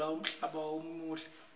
tiguna umhlaba umuhle